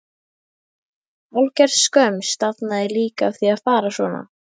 Hálfgerð skömm stafaði líka af því að fara svona.